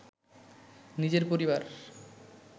নিজের পরিবার